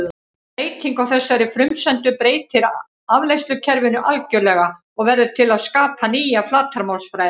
Breyting á þessari frumsendu breytir afleiðslukerfinu algjörlega og verður til að skapa nýja flatarmálsfræði.